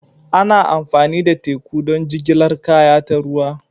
Ana amfani da teku don jigilar kaya ta ruwa.